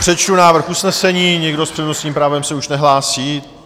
Přečtu návrh usnesení - nikdo s přednostním právem se už nehlásí.